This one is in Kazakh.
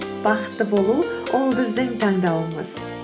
бақытты болу ол біздің таңдауымыз